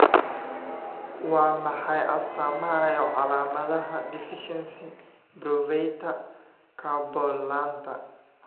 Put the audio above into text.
Waa maxay astaamaha iyo calaamadaha deficiency Pyruvate carbonlaanta?